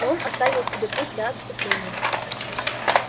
но он оставил себе путь для отступления